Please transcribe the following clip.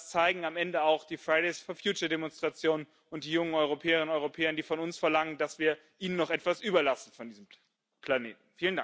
Das zeigen am Ende auch die Fridays for future Demonstrationen und die jungen Europäerinnen und Europäer, die von uns verlangen, dass wir ihnen noch etwas überlassen von diesem Planeten.